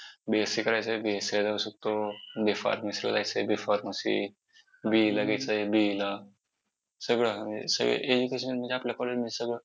B. Sc करायचं आहे B. Sc ला जाऊ शकतो. B. Pharmacy ला जायचं आहे B. PharmacyBE ला घ्यायचं आहे BE ला सगळं म्हणजे education मध्ये आपल्या college मध्ये सगळं